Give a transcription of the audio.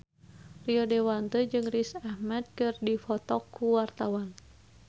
Rio Dewanto jeung Riz Ahmed keur dipoto ku wartawan